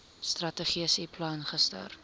strategiese plan gister